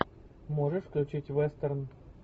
можешь включить вестерн